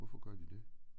Hvorfor gør de det?